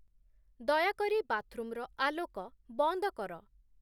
ଦୟାକରି ବାଥରୁମ୍‌ର ଆଲୋକ ବନ୍ଦ କର